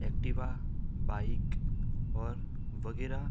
Activa bike और वगैरा --